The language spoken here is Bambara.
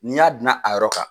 N'i y'a dinan a yɔrɔ kan